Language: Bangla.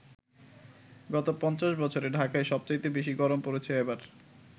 গত ৫০ বছরে ঢাকায় সবচাইতে বেশি গরম পড়েছে এবার।